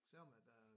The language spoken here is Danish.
Selvom at der